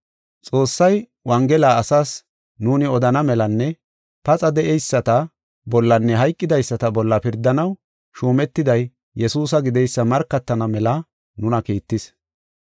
Xoossay Wongela asaas nuuni odana melanne paxa de7eyisata bollanne hayqidaysata bolla pirdanaw shuumetiday Yesuusa gideysa markatana mela nuna kiittis.